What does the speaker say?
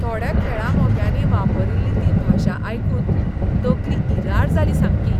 थोड्या खेळा मोग्यांनी वापरिल्ली ती भाशा आयकून तकली इरार जाली सामकी.